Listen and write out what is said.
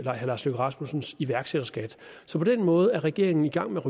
herre lars løkke rasmussens iværksætterskat så på den måde er regeringen i gang med